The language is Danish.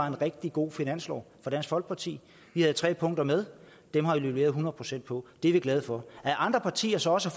en rigtig god finanslov for dansk folkeparti vi havde tre punkter med og dem har vi leveret hundrede procent på det er vi glade for at andre partier så også